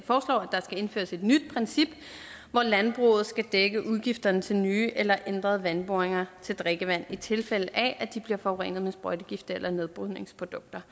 der skal indføres et nyt princip hvor landbruget skal dække udgifterne til nye eller ændrede vandboringer til drikkevand i tilfælde af at de bliver forurenet med sprøjtegifte eller nedbrydningsprodukter